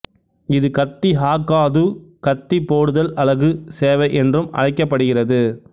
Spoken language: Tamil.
இது கத்தி ஹாக்காது கத்தி போடுதல் அலகு சேவை என்றும் அழைக்கப்படுகிறது